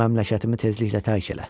Məmləkətimi tezliklə tərk elə.